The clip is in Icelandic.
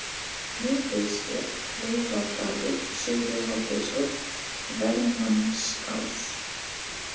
Miðdegissker, Kleifadalur, Syðri-Hádegishóll, Vermannsás